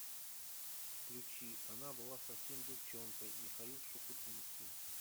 включи она была совсем девчонкой михаил шуфутинский